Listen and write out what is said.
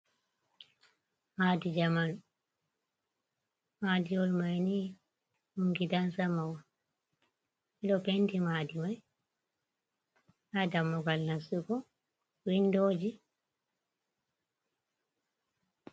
Maadi jamanu, maadiwoi may ni ,ɗum gidan sama on, ɓe ɗo penti maadi may, ndaa dammugal nastugo winndooji.